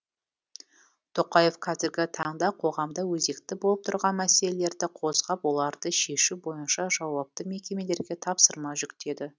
тоқаев қазіргі таңда қоғамда өзекті болып тұрған мәселелерді қозғап оларды шешу бойынша жауапты мекемелерге тапсырма жүктеді